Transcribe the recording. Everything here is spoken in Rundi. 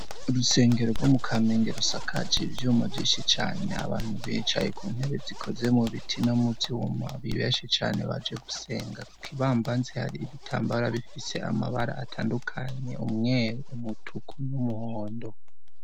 urusengero rwo mu kamenge rusakaje iryuma vyishi cane abantu bicaye ku ntebe zikoze mu biti no muvyuma nibeshe cane baje gusenga ikibambanzi hari ibitambara bifise amabara atandukanye umweru umutuku n'umuhondo